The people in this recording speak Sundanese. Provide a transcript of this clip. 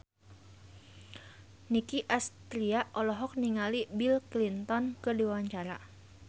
Nicky Astria olohok ningali Bill Clinton keur diwawancara